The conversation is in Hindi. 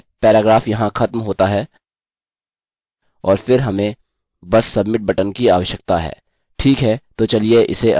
ठीक है पैराग्राफ यहाँ खत्म होता है और फिर हमें बस सबमिट बटन की आवश्यकता है